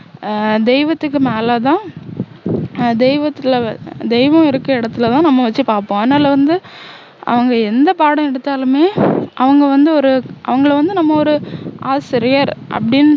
ஆஹ் தெய்வத்துக்கு மேலதான் ஆஹ் தெய்வத்துக்குள்ள தெய்வம் இருக்குற இடத்துலதான் நம்ம வச்சு பார்ப்போம் அதனால வந்து அவங்க எந்த பாடம் எடுத்தாலுமே அவங்க வந்து ஒரு அவங்கள வந்து நம்ம ஒரு ஆசிரியர் அப்படின்னு